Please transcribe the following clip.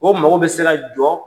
O mago bɛ se ka jɔ.